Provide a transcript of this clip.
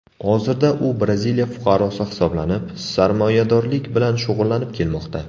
Hozirda u Braziliya fuqarosi hisoblanib, sarmoyadorlik bilan shug‘ullanib kelmoqda.